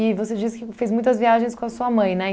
E você disse que fez muitas viagens com a sua mãe, né?